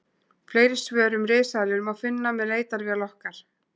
Fleiri svör um risaeðlur má finna með leitarvél okkar.